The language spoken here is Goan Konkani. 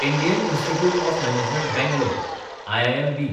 Indian Institute of Management Bangalore (IIMB)